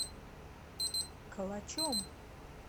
калачом